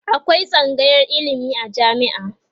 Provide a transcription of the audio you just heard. akwai tsangayar ilimi a jami'a